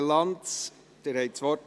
Raphael Lanz, Sie haben das Wort.